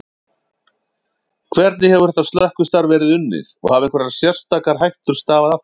Hvernig hefur þetta slökkvistarf verið unnið og hafa einhverjar sérstakar hættur stafað af þessu?